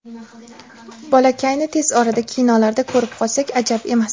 Bolakayni tez orada kinolarda ko‘rib qolsak ajab emas!